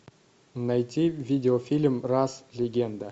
найти видеофильм рас легенда